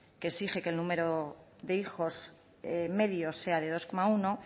que exige que el número de hijos medio sea de dos coma uno